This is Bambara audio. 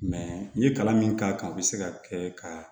n ye kalan min k'a kan o be se ka kɛ ka